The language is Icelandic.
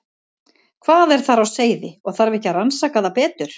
Hvað er þar á seyði og þarf ekki að rannsaka það betur?